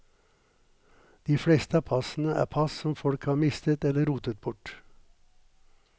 De fleste av passene er pass som folk har mistet eller rotet bort.